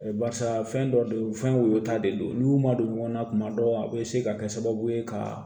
Barisa fɛn dɔ de fɛn woyota de do n'u y'u madon ɲɔgɔn na tuma dɔw a bɛ se ka kɛ sababu ye ka